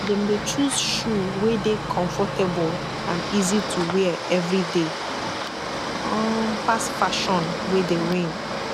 dem dey choose shoe wey dey komfortabol and easy to wear evryday um pass fashion wey dey reign